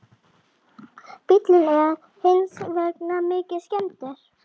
Bíllinn er hins vegar mikið skemmdur